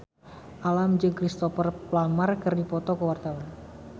Alam jeung Cristhoper Plumer keur dipoto ku wartawan